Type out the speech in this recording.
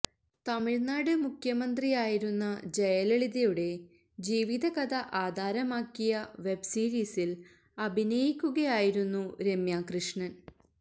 തമിഴ്നാട് മുഖ്യമന്ത്രി ആയിരുന്ന ജയലളിതയുടെ ജീവിത കഥ ആധാരമാക്കിയ വെബ് സീരീസില് അഭിനയിക്കുകയായിരുന്നു രമ്യാ കൃഷ്ണന്